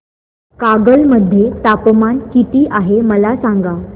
कागल मध्ये तापमान किती आहे मला सांगा